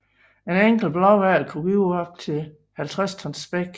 En enkelt blåhval kunne give op til 50 tons spæk